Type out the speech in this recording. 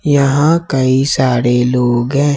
यहां कई सारे लोग हैं।